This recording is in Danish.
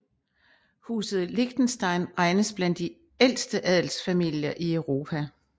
Huset Liechtenstein regnes blandt de ældste adelsfamilier i Europa